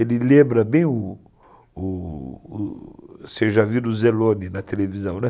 Ele lembra bem o o o... Vocês já viram o Zellone na televisão, né?